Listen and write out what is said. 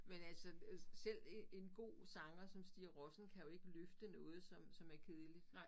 Men altså selv en en god sanger som Stig Rossen kan jo ikke løfte noget som som er kedeligt